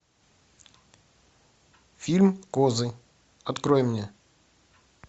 фильм козы открой мне